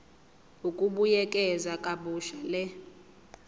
ukubuyekeza kabusha le